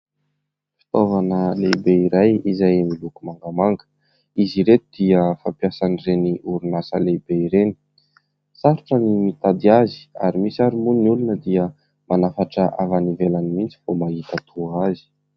Fitaovana lehibe iray izay miloko mangamanga. Izy ireto dia fampiasan'ireny orinasa lehibe ireny. Sarotra ny mitady azy ary misy ary moa ny olona dia manafatra avy any ivelany mihitsy vao mahita toa azy.